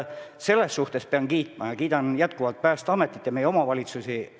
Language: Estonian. Selle eest ma pean kiitma ja kiidangi Päästeametit ja meie omavalitsusi.